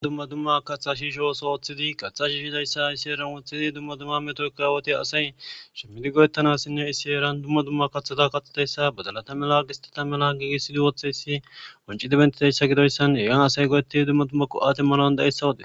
Dumma dumma katha shiisho oso oothidi kaththa shiishizayssa iseeran woththidi dumma dumma metoka awoti asay shimmidi goyettanassinne isseeran dumma dumma kathata kathidayssa badalata mela gistata mela giigisidi wotheyssi qoncidi bentizyssa gidoyssan hegan asay goyettidi dumma dumma go7a demmanaw dandda7eyssa wode.